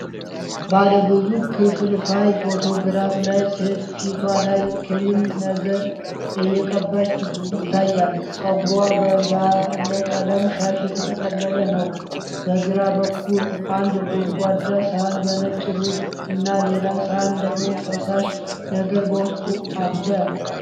ባለብዙ ክፍልፋይ ፎቶግራፍ ላይ ሴት ፊቷ ላይ ክሬም ነገር እየቀባች ይታያል። ፀጉሯ በባለቀለም ሻሽ የተጠቀለለ ነው። በግራ በኩል አንድ ጎድጓዳ ሳህን በነጭ ሩዝ እና ሌላ ሳህን ደግሞ ፈሳሽ ነገር በውስጡ አለ።